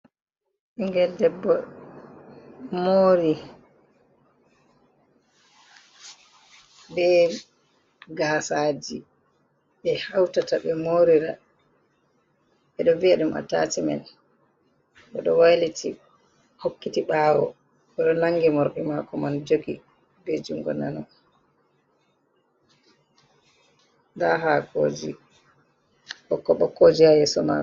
Ɓingel debbo mori be gasaji ɓe hautata ɓe morira ɓeɗo vi'a ɗum atachimen oɗo wailiti hokkiti ɓawo oɗo nangi morɗi mako man jogi be jungo nano, nda ha koji ɓokko ɓokko ji ha yeso mako.